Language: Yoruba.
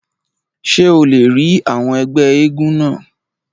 Ṣé o lè rí àwọn ẹgbẹ́ éégún náà?